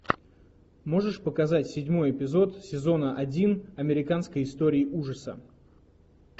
можешь показать седьмой эпизод сезона один американской истории ужаса